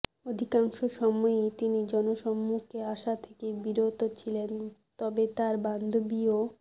অধিকাংশ সময়ই তিনি জনসম্মুখে আসা থেকে বিরত ছিলেন তবে তাঁর বান্ধবী ও